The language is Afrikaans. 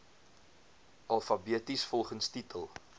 alfabeties volgens titel